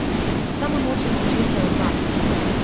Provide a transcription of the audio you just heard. Samo nočem ničesar od vas.